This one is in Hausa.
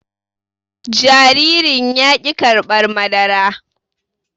Jaririn yaki karɓar madara